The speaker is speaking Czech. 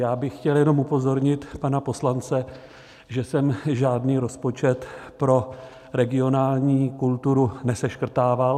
Já bych chtěl jenom upozornit pana poslance, že jsem žádný rozpočet pro regionální kulturu neseškrtával.